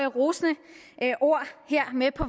rosende ord her med på